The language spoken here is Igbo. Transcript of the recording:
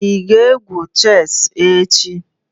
Ị ga-egwu chess echi?